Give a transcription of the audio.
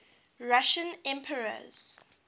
russian emperors